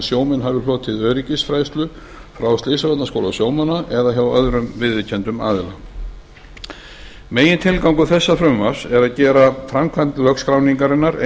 sjómenn hafi hlotið öryggisfræðslu frá slysavarnaskóla sjómanna eða hjá öðrum viðurkenndum aðila megintilgangur þessa frumvarps er að gera framkvæmd lögskráningarinnar